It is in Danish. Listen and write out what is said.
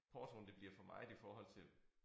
Portoen det bliver for meget i forhold til